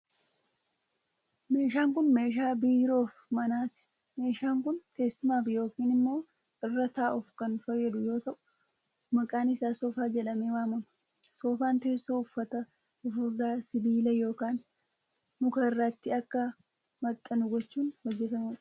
Meeshaan kun, meeshaa biiroo fi manaati. Meeshaan kun teessumaaf yokin immoo irra taa'uuf kan fayyadu yoo ta'u, maqaan isaa soofaa jedhamee waamam. Soofaan teessoo uffata fufurdaa sibiila yokin muka irratti akka maxxanu gochuun hojjatamuu dha.